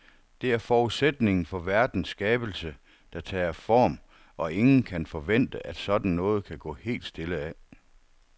Det er forudsætningen for verdens skabelse, der tager form, og ingen kan forvente, at sådan noget kan gå helt stille af.